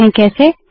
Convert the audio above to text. देखते है कैसे